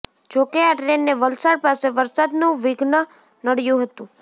જોકે આ ટ્રેનને વલસાડ પાસે વરસાદનું વિધ્ન નડયુ હતુ